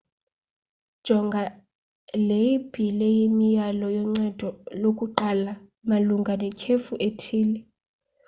jonga ileyibhile yemiyalelo yoncedo lokuqala malunga netyhefu ethile